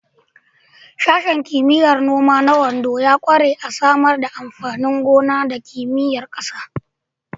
Sashen Kimiyyar Noma na Ondo ya ƙware a Samar da amfanin gona da Kimiyyar ƙasa.